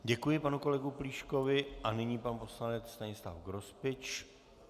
Děkuji panu kolegovi Plíškovi a nyní pan poslanec Stanislav Grospič.